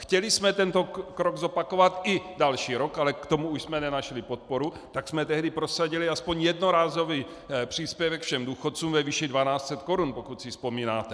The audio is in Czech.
Chtěli jsme tento krok zopakovat i další rok, ale k tomu už jsme nenašli podporu, tak jsme tehdy prosadili aspoň jednorázový příspěvek všem důchodcům ve výši 1 200 korun, pokud si vzpomínáte.